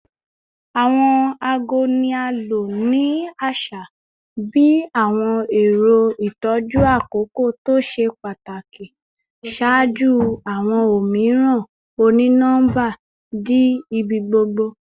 Awọn aago ni a lo ni aṣa bi awọn ẹrọ itọju akoko to ṣe pataki ṣaaju awọn omiiran oni-nọmba di ibigbogbo